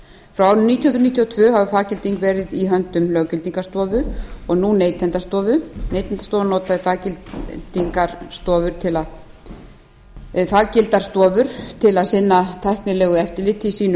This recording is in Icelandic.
hundruð níutíu og tvö hefur faggilding verið í höndum löggildingarstofu og nú neytendastofu neytendastofa notar faggildar stofur til að sinna tæknilegu eftirliti í sínu